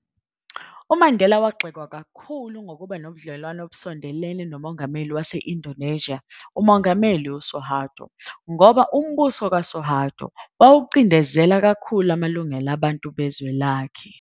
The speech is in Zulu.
UMandela wagxekwa kakhulu ngokuba nobudlelwane obusondelene noMongameli wase-Indonesia uMongameli Suharto, ngoba umbuso kaSuharto wawucindezela kakhulu amalungelo abantu bezwe lakhe.